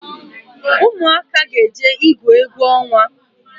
Ụmụaka ga jee igwu egwu onwa